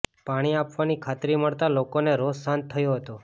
પાણી આપવાની ખાતરી મળતા લોકોનો રોષ શાંત થયો હતો